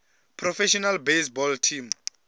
professional baseball teams